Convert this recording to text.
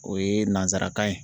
O ye nansarakan ye.